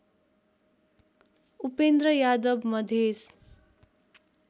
Upendra Yadav Madhes